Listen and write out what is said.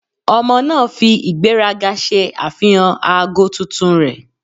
Ọmọ naa fi igberaga ṣe afihan aago tuntun rẹ.